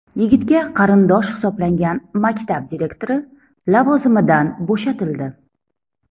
Yigitga qarindosh hisoblangan maktab direktori lavozimidan bo‘shatildi.